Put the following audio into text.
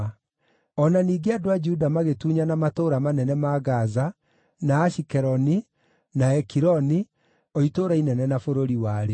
O na ningĩ andũ a Juda magĩtunyana matũũra manene ma Gaza, na Ashikeloni, na Ekironi, o itũũra inene na bũrũri warĩo.